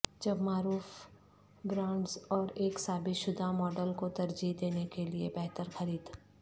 جب معروف برانڈز اور ایک ثابت شدہ ماڈل کو ترجیح دینے کے لئے بہتر خرید